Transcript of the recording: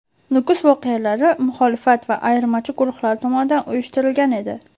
Nukus voqealari muxolifat va ayirmachi guruhlar tomonidan uyushtirilgan edi.